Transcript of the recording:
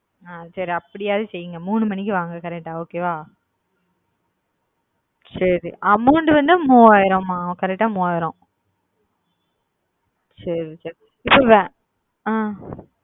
அ சரி அப்டியாது செய்ங்க மூணு மணிக்கு வாங்க correct ஆ okay வா சரி amount வந்து மூவாயிரம் மா correct மூவாயிரம் சரி வச்சுறேன்.